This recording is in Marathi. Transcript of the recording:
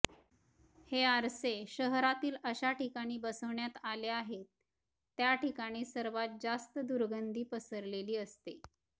हे आरसे शहरातील अशा ठिकाणी बसवण्यात आले आहेत त्या ठिकाणी सर्वात जास्त दुर्गंधी पसरलेली असते